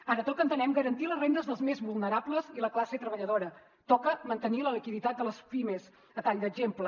ara toca entenem garantir les rendes dels més vulnerables i la classe treballadora toca mantenir la liquiditat de les pimes a tall d’exemple